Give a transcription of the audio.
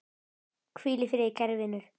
Hvíl í friði, kæri vinur.